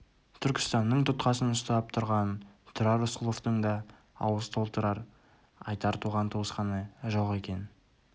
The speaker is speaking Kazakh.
түркістанның тұтқасын ұстап тұрған тұрар рысқұловтың да ауыз толтырып айтар туған-туысқаны жоқ екен